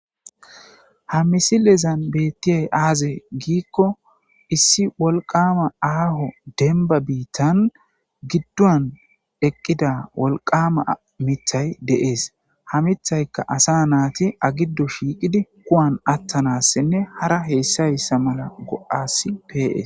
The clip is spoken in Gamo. ha misilezan beettiyay aaze giikko issi wolqama aaho denba biittan giddon eqqida wolqama mithay deees ha mithaykka asa naati agiddo shiiqidi kuwan attanassinne hara heessayssa mala go7asi pees